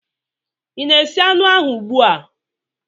Ị na-esi anụ ahụ ugbu a?